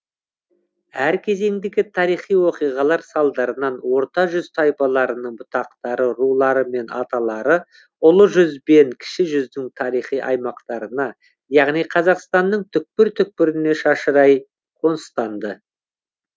әр кезеңдегі тарихи оқиғалар салдарынан орта жүз тайпаларының бұтақтары рулары мен аталары ұлы жүз бен кіші жүздің тарихи аймақтарына яғни қазақстанның түкпір түкпіріне шашырай қоныстанды